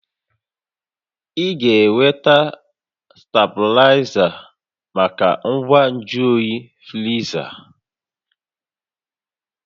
Ị ga-enweta stabilaịza maka ngwa nju oyi friza